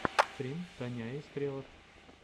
стрим таняи стрелав